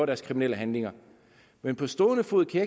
deres kriminelle handlinger men på stående fod kan